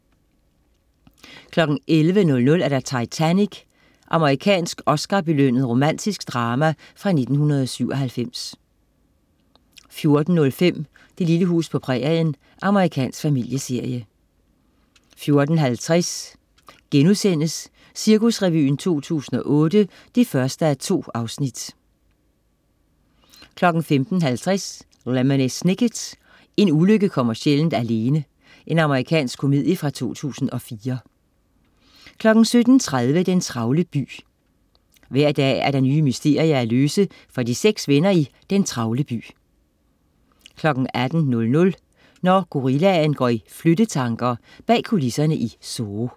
11.00 Titanic. Amerikansk Oscar-belønnet romantisk drama fra 1997 14.05 Det lille hus på prærien. Amerikansk familieserie 14.50 Cirkusrevyen 2008 1:2* 15.50 Lemony Snicket. En ulykke kommer sjældent. Amerikansk komedie fra 2004 17.30 Den travle by. Hver dag er der nye mysterier at løse for de 6 venner i Den travle by 18.00 Når gorillaen går i flyttetanker. Bag kulisserne i Zoo